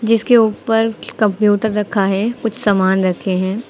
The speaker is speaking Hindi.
इसके ऊपर कंप्यूटर रखा है कुछ सामान रखे हैं।